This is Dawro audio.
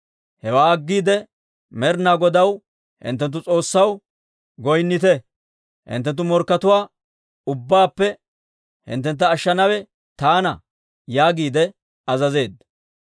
Hewaa aggiide, Med'ina Godaw hinttenttu S'oossaw goynnite. Hinttenttu morkkatuwaa ubbaappe hinttentta ashshanawe taana» yaagiide azazeedda.